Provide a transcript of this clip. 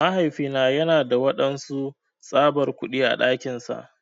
Mahaifina yana da wadansu tsabar kudi á dakinsa.